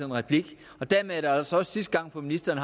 replik og dermed er det altså også sidste gang ministeren